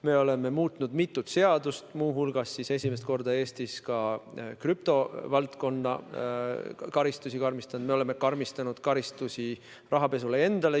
Me oleme muutnud mitut seadust, muu hulgas oleme esimest korda Eestis ka krüptovaldkonna karistusi karmistanud, me oleme karmistanud karistusi rahapesule endale.